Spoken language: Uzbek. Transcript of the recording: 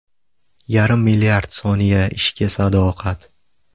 Yarim milliard soniya ishga sadoqat.